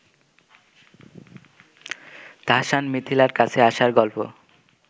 তাহসান মিথিলার কাছে আসার গল্প